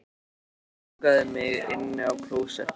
Hann lokaði mig inni á klósetti